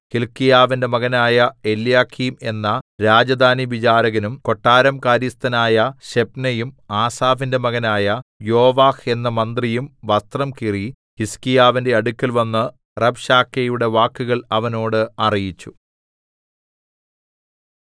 ഹില്ക്കീയാവിന്റെ മകനായ എല്യാക്കീം എന്ന രാജധാനിവിചാരകനും കൊട്ടാരം കാര്യസ്ഥനായ ശെബ്നയും ആസാഫിന്റെ മകനായ യോവാഹ് എന്ന മന്ത്രിയും വസ്ത്രം കീറി ഹിസ്കീയാവിന്റെ അടുക്കൽവന്ന് റബ്ശാക്കേയുടെ വാക്കുകൾ അവനോട് അറിയിച്ചു